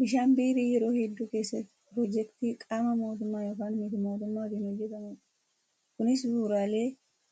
Bishaan biirii yeroo hedduu keessatti piroojeektii qaama mootummaa yookaan miti-mootummaatiin hojjatamudha. Kunis bu'uuraalee